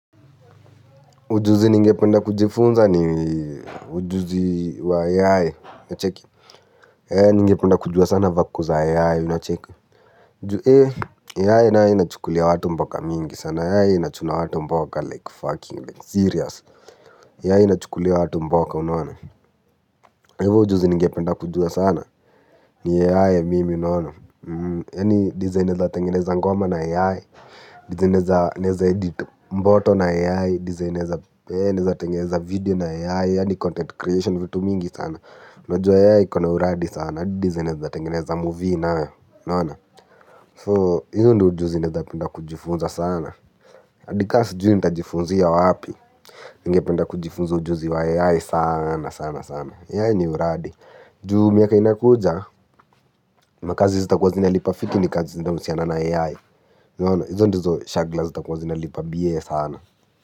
Ujuzi ningependa kujifunza ni ujuzi wa AI nacheki AI ningependa kujua sana vako za AI nacheke Nju e AI nayo inachukulia watu mboka mingi sana AI inachukulia watu mboka like fucking like serious AI inachukulia watu mboka unaona. Hivo ujuzi ningependa kujua sana ni AI mimi unaona. Yani design naeza tengeneza ngoma na AI. Design neza edit mboto na AI. Design neza video na AI. Yani content creation vitu mingi sana. Najua AI ikona uradi sana. Design neza tengeneza movie nayo So hivyo ndio ujuzi. Nitapenda kujifunza sana. Adi kasijui nita jifunzia wa wapi. Nigependa kujifunza ujuzi wa AI. Sana sana sana AI ni uradi. Juu miaka inakuja. Makazi zita kuwa zina lipa fiti ni kazi zinanausiana na AI. Izo ndizo shagla zita kwa zinalipa biye sana.